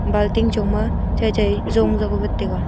balting chongma chaichai zong wat taiga.